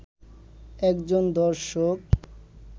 একজন দর্শক